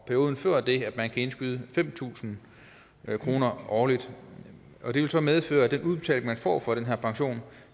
perioden før det kan man indskyde fem tusind kroner årligt det vil så medføre at den udbetaling man får fra den her pension